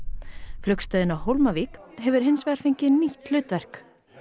flugstöðin á Hólmavík hefur hins vegar fengið nýtt hlutverk